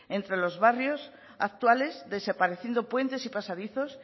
entre los barrios actuales desapareciendo puentes y pasadizos